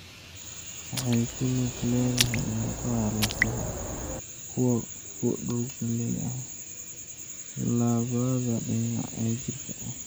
Waxay ku lug leedahay murqaha lafaha (kuwa ku lug leh dhaqdhaqaaqa) labada dhinac ee jirka.